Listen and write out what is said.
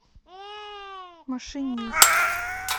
машинист